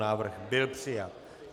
Návrh byl přijat.